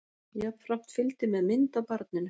Jafnframt fylgdi með mynd af barninu